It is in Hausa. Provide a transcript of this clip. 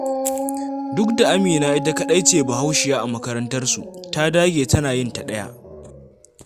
Duk da Amina ita kaɗai ce Bahaushiya a makarantarsu, ta dage tana yin ta ɗaya.